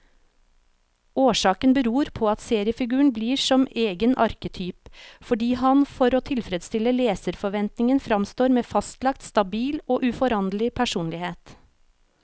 Årsaken beror på at seriefiguren blir som egen arketyp, fordi han for å tilfredstille leserforventningen framstår med fastlagt, stabil og uforanderlig personlighet.